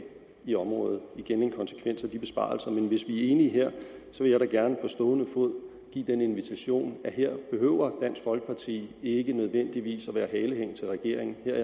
i området igen en konsekvens af besparelserne men hvis vi er enige her vil jeg da gerne på stående fod give den invitation at her behøver dansk folkeparti ikke nødvendigvis være halehæng til regeringen her